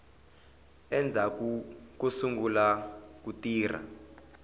endzhaku ko sungula ku tirha